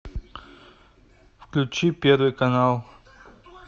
включи первый канал